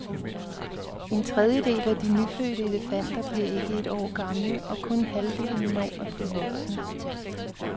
En tredjedel af de nyfødte elefanter bliver ikke et år gamle, og kun halvdelen når at blive voksne.